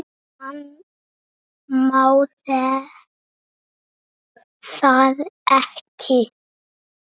Hann má það ekki.